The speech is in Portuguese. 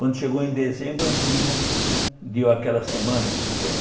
Quando chegou em dezembro, a menina deu aquela semana de férias.